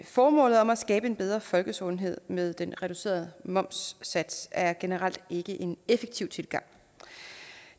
formålet om at skabe en bedre folkesundhed med den reducerede momssats er generelt ikke en effektiv tilgang